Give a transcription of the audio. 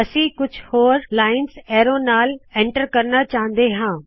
ਅਸੀ ਐਰੈ ਦੇ ਨਾਲ ਕੁਛ ਲਾਇਨਜ਼ ਏਨਟਰ ਕਰਣਾ ਚਾਹੁੰਦੇ ਹਾ